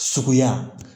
Suguya